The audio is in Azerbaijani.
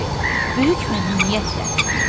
O dedi, böyük məmnuniyyətlə.